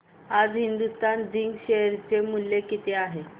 आज Hindustan zinc share चे मूल्य किती आहे